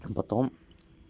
потом